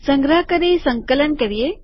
સંગ્રહ કરી સંકલન કરીએ